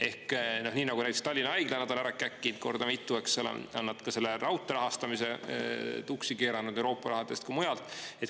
Ehk nii nagu näiteks Tallinna Haigla on nad ära käkkinud korda mitu, eks, on nad ka selle raudtee rahastamise tuksi keeranud nii Euroopa rahadest kui ka mujalt.